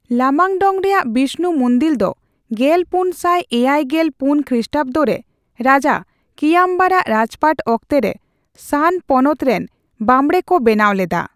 ᱞᱟᱢᱟᱝᱰᱚᱝ ᱨᱮᱭᱟᱜ ᱵᱤᱥᱱᱩ ᱢᱩᱱᱫᱤᱞ ᱫᱚ ᱜᱮᱞᱯᱩᱱ ᱥᱟᱭ ᱮᱭᱟᱭ ᱜᱮᱞ ᱯᱩᱱ ᱠᱷᱤᱥᱴᱟᱵᱫᱚ ᱨᱮ (ᱨᱟᱡᱟ ᱠᱤᱭᱟᱢᱵᱟᱨ ᱟᱜ ᱨᱟᱡᱽᱯᱟᱴ ᱚᱠᱛᱮ ᱨᱮ) ᱥᱟᱱ ᱯᱚᱱᱚᱛ ᱨᱮᱱ ᱵᱟᱵᱬᱮ ᱠᱚ ᱵᱮᱱᱟᱣ ᱞᱮᱫᱟ ᱾